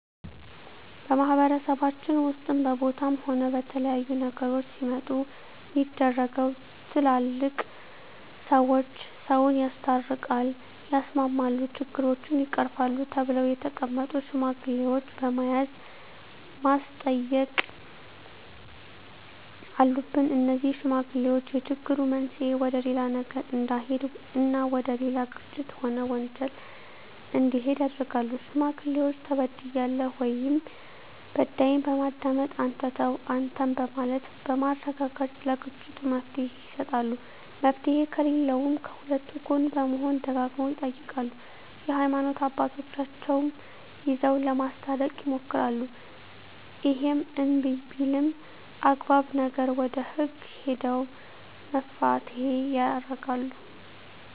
በማህበረሰባችን ውስጥም በቦታም ሆነ በተለያዩ ነገሮች ሲመጡ ሚደረገው ትላልቅ ሰዎች ሰውን ያስታርቃል ያስማማሉ ችግሮችን ይቀርፋሉ ተብለው የተቀመጡ ሽማግሌዎች በመያዝ ማስተየቅ አሉብን እነዜህ ሽማግሌዎች የችግሩ መንሰየ ወደሌላ ነገር እዳሄድ እና ወደሌላ ግጭት ሆነ ወንጀል እንዲሄድ ያረጋሉ ሽማግሌዎች ተበድያለሁ ወይም በዳይን በማዳመጥ አንተ ተው አንተም በማለት በማረጋጋት ለግጭቱ መፍትሔ ይሰጣሉ መፍትሔ ከለለውም ከሁለቱ ጎን በመሆን ደጋግመው ይጠይቃሉ የሀይማኖት አባቶቻቸው ይዘው ለማስታረቅ ይሞክራሉ እሄም እንብይ ቢልም አግባብ ነገር ወደ ህግ ሄደው መፋተየ ያረጋሉ